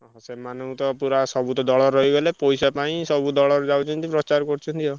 ସେମାନଙ୍କୁ ତ ପୁରା ସବୁ ତ ଦଳରେ ରହିଗଲେ ପଇସା ପାଇଁ ସବୁ ଦଳରେ ଯାଉଛନ୍ତି ପ୍ରଚାର କରୁଛନ୍ତି ଆଉ।